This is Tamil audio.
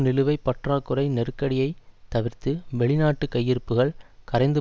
நிலுவை பற்றாக்குறை நெருக்கடியை தவிர்த்து வெளிநாட்டு கையிருப்புகள் கரைந்து